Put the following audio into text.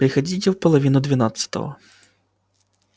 приходите в половине двенадцатого